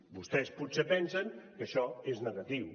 vostès potser pensen que això és negatiu